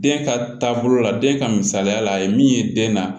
Den ka taabolo la den ka misaliya la a ye min ye den na